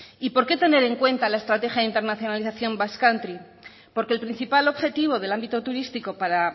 y porque tener en cuenta la estrategia de internacionalización basque country porque el principal objetivo del ámbito turístico para